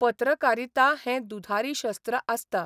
पत्रकारिता हें दुधारी शस्त्र आसता.